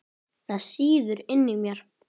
Það sýður inni í mér.